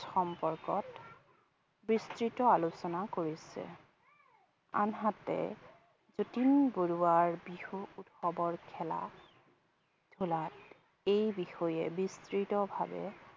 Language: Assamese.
সম্পৰ্কত বৃস্তিত আলোচনা কৰিছে। আনহাতে যতীন বৰুৱাৰ বিহু উৎসৱৰ খেলা ধূলাত এই বিষয়ে বৃস্তিতভাবে